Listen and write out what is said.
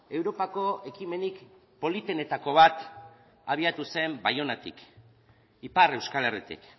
europako ekimenik politenetako bat abiatu zen baionatik ipar euskal herritik